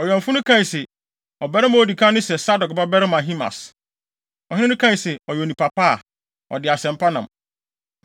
Ɔwɛmfo no kae se, “Ɔbarima a odi kan no sɛ Sadok babarima Ahimaas.” Ɔhene no kae se, “Ɔyɛ onipa pa a, ɔde asɛm pa nam.”